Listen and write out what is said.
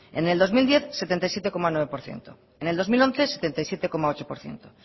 en el dos mil diez setenta y siete coma nueve por ciento en el dos mil once setenta y siete coma ocho por ciento